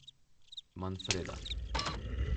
Manfreda.